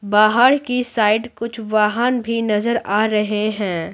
बाहर की साइड कुछ वाहन भी नजर आ रहे हैं।